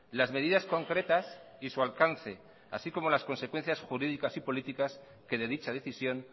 las medidas concretas y su alcance así como las consecuencias jurídicas y políticas que de dicha decisión